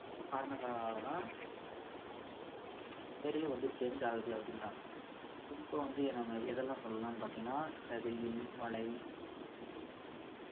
காரணங்களால தான் ஆஹ் இந்த weather ரே வந்து change ஆகுதுன்னு அப்படின்றாங்க குறிப்பா வந்து நம்ம எதலாம் சொல்லலாம்னு பார்த்திங்கன்னா இந்த வெயில் மழை பனி